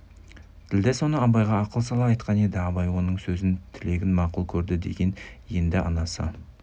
ділдә соны абайға ақыл сала айтқан еді абай оның сөзін тілегін мақұл көрді деген енді анасы